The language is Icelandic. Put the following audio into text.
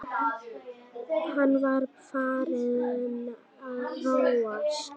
Hann var farinn að róast.